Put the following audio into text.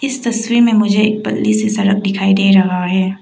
इस तस्वीर में मुझे एक पतली सी सड़क दिखाई दे रहा है।